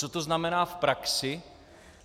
Co to znamená v praxi.